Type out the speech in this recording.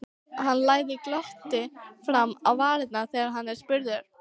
Hann læðir glotti fram á varirnar þegar hann er spurður.